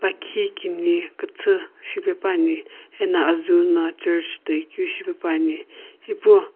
lakhi kini kuthu shipepuani ena azuu no church toikeu shipepuani ipu --